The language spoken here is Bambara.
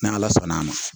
Ni ala sɔnna a ma